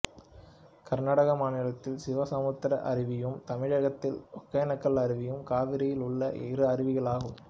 கர்நாடக மாநிலத்தில் சிவசமுத்திர அருவியும் தமிழகத்தில் ஒகேனக்கல் அருவியும் காவிரியில் உள்ள இரு அருவிகளாகும்